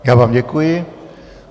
Já vám děkuji.